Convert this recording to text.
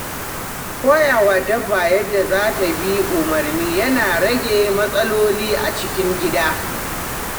Koya wa dabba yadda za ta bi umarni yana rage matsaloli a cikin gida.